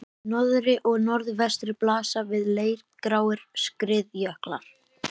Í norðri og norðvestri blasa við leirgráir skriðjöklar.